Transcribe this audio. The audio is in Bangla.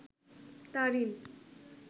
তারিন